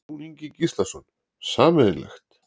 Jón Ingi Gíslason: Sameiginlegt?